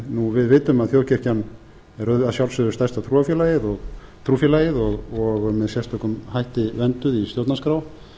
við vitum að þjóðkirkjan er að sjálfsögðu stærsta trúfélagið og með sérstökum hætti vernduð í stjórnarskrá